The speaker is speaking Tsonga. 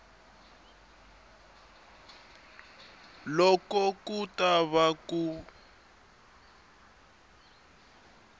loko ku ta va ku